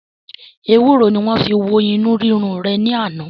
Ewuro ni wọn fi wo inu rirun re ni ana.